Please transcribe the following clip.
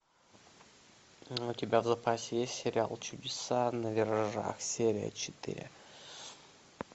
у тебя в запасе есть сериал чудеса на виражах серия четыре